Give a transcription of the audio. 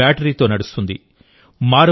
ఇది బ్యాటరీతో నడుస్తుంది